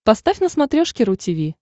поставь на смотрешке ру ти ви